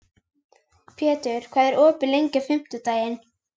Pétur, hvað er opið lengi á fimmtudaginn?